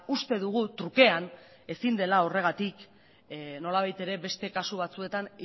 uste dugu trukean ezin dela horregatik nolabait ere beste kasu batzuetan